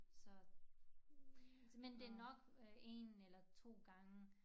Så men det nok øh 1 eller 2 gange